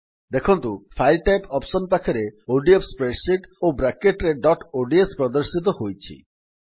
ଦେଖନ୍ତୁ file type option ପାଖରେ ODF spreadsheet ଓ ବ୍ରାକେଟ୍ ରେ ଡଟ୍ ଓଡିଏସ ପ୍ରଦର୍ଶିତ ହୋଇଛି